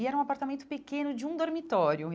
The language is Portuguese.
E era um apartamento pequeno de um dormitório.